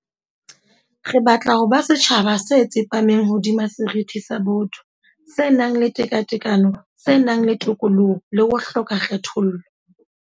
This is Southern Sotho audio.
Re batla ho ba setjhaba se tsepameng hodima seriti sa botho, se nang le tekatekano, se nang le tokoloho le ho hloka kgethollo.